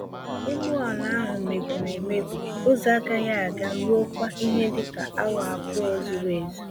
Ụgbọ ala ahụ mebiri emebi ụzọ-agaghị-aga ruokwa ihe dịka awa abụọ zuru-ezú.